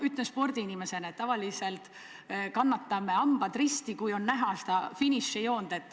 Ütlen spordiinimesena, et tavaliselt me kannatame hambad ristis, kui finišijoont on juba näha.